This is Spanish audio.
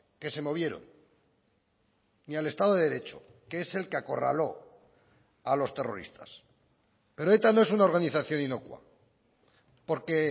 que se movieron ni al estado de derecho que es el que acorraló a los terroristas pero eta no es una organización inocua porque